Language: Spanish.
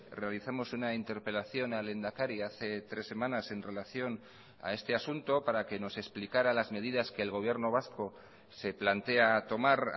realizamos una interpelación al lehendakari hace tres semanas en relación a este asunto para que nos explicara las medidas que el gobierno vasco se plantea tomar